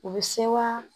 U bɛ se wa